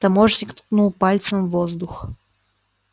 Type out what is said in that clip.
таможенник ткнул пальцем в воздух